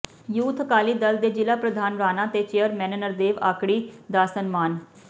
youth Akali Dal ਦੇ ਜ਼ਿਲਾ ਪ੍ਰਧਾਨ ਰਾਣਾ ਤੇ ਚੇਅਰਮੈਨ ਨਰਦੇਵ ਆਕੜੀ ਦਾ ਸਨਮਾਨ